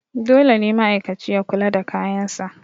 dole ne ma'aikaci ya kula da kayansa